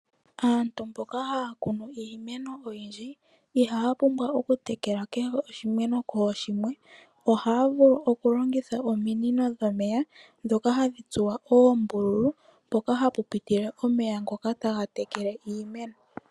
Aantu mboka haya kunu iimeno oyindji, ihaya pumbwa okutekela kehe oshimeno kooshimwe, ohaya vulu oku longitha ominino dho meya dhoka hadhi tsuwa oombululu, mpoka hapu pitile omeya ngoka taga tekele iimeno.